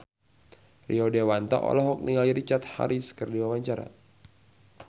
Rio Dewanto olohok ningali Richard Harris keur diwawancara